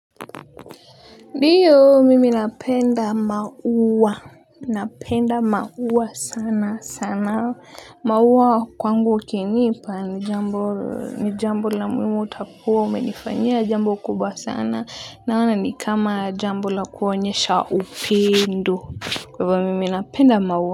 Ndiyo mimi napenda maua. Napenda maua sana sana. Maua kwangu ukinipa ni jambo ni jambo la muhimu utakuwa umenifanyia jambo kubwa sana naona ni kama jambo la kuonyesha upendo. Kwa hivo mimi napenda maua.